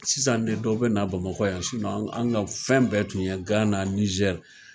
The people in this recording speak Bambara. Sisan ne dɔw be n'a bamakɔ yan sinɔ an ka fɛn bɛɛ tun ye gan nizɛri